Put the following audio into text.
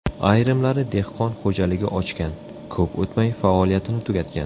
Ayrimlari dehqon xo‘jaligi ochgan, ko‘p o‘tmay faoliyatini tugatgan.